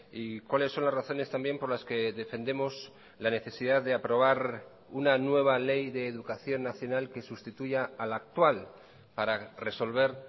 y cuáles son las razones también por las que defendemos la necesidad de aprobar una nueva ley de educación nacional que sustituya a la actual para resolver